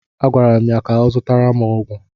A gwara m ya ka ọ zụtara m ọgwụ!